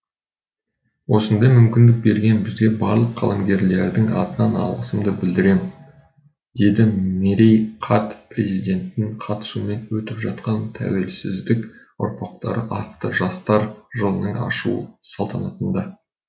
осындай мүмкіндік берген сізге барлық қаламгерлердің атынан алғысымды білдірем деді мерей қарт президенттің қатысуымен өтіп жатқан тәуелсіздік ұрпақтары атты жастар жылының ашылу салтанатында